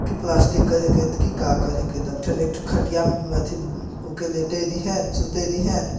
यह प्लास्टिक के है की का कर हे तो एक ठो एक ठो खटिया में का लेटाय दी है सुताय दी है।